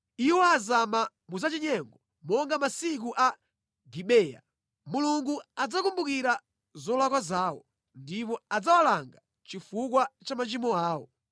Iwo azama mu zachinyengo monga masiku a Gibeya. Mulungu adzakumbukira zolakwa zawo ndipo adzawalanga chifukwa cha machimo awo.